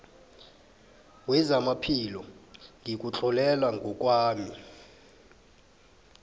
wezamaphilo ngikutlolela ngokwami